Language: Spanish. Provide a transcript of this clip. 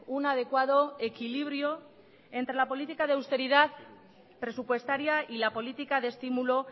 un adecuado equilibrio entre la política de austeridad presupuestaria y la política de estímulo